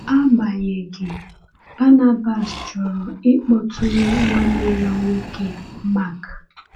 Agbanyeghị, Barnabas chọrọ ịkpọtụrụ nwanne ya nwoke Mark.